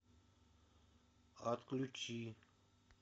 отключи